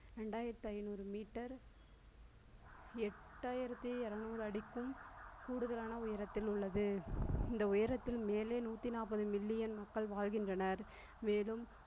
ரெண்டாயிரத்தி ஐய்நூறு meter எட்டாயிரத்தி இருநூறு அடிக்கும் கூடுதலான உயரத்தில் உள்ளது இந்த உயரத்தின் மேலே நூற்றி நாற்பது million மக்கள் வாழ்கின்றனர் மேலும்